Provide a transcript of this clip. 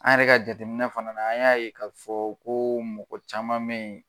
An yɛrɛ ka jateminɛ fana na an y'a ye k'a fɔ ko mɔgɔ caman mɛyi.